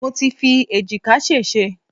Mo ti fi èjìká sèsé